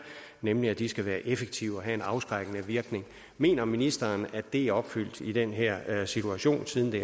nemlig at de skal være effektive og have en afskrækkende virkning mener ministeren at det er opfyldt i den her situation siden det